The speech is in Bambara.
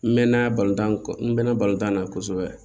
N mɛn na balontan n mɛɛnna balontan na kosɛbɛ